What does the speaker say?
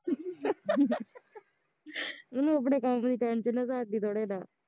ਉਹਨੂੰ ਅਪਣੇ ਕੰਮ ਦੀ tension ਐ ਸਾਡੀ ਥੋੜਾ ਨਾ